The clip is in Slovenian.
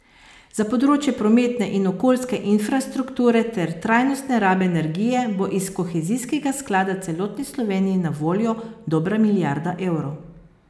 Za področje prometne in okoljske infrastrukture ter trajnostne rabe energije bo iz kohezijskega sklada celotni Sloveniji na voljo dobra milijarda evrov.